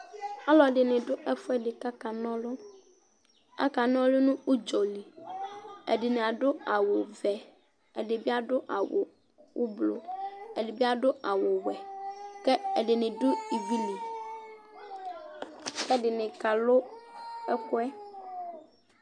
Ɔlɔdɩnɩ dʋ ɛfʋɛdɩ kʋ akana ɔlʋ Akana ɔlʋ nʋ ʋdzɔ li Ɛdɩnɩ adʋ awʋvɛ, ɛdɩ bɩ adʋ awʋ ʋblʋ, ɛdɩ bɩ adʋ awʋwɛ kʋ ɛdɩnɩ dʋ ivi li kʋ ɛdɩnɩ kalʋ ɛkʋ yɛ